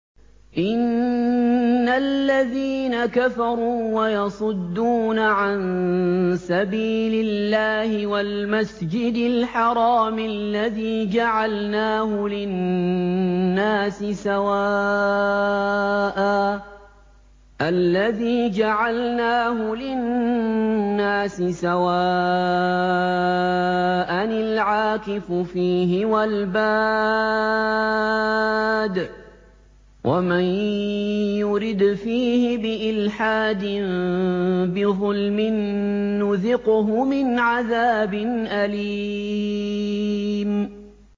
إِنَّ الَّذِينَ كَفَرُوا وَيَصُدُّونَ عَن سَبِيلِ اللَّهِ وَالْمَسْجِدِ الْحَرَامِ الَّذِي جَعَلْنَاهُ لِلنَّاسِ سَوَاءً الْعَاكِفُ فِيهِ وَالْبَادِ ۚ وَمَن يُرِدْ فِيهِ بِإِلْحَادٍ بِظُلْمٍ نُّذِقْهُ مِنْ عَذَابٍ أَلِيمٍ